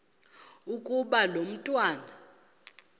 ukuba lo mntwana